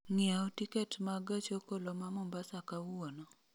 ng'iewo tiket ma gach okoloma mombasa kawuono